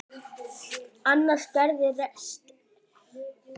Annars gerðist ekki margt.